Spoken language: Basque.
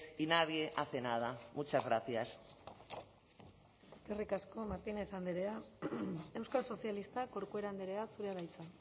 y nadie hace nada muchas gracias eskerrik asko martínez andrea euskal sozialistak corcuera andrea zurea da hitza